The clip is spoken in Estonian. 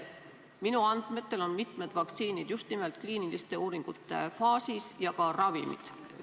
Minu andmetel on mitmed vaktsiinid just nimelt kliiniliste uuringute faasis ja ka ravimid.